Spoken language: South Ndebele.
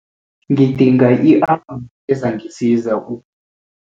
Ngidinga i-alamu ezangisiza u